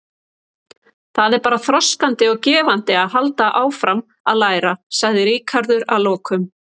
Það er bara þroskandi og gefandi að halda áfram að læra, sagði Ríkharður að lokum.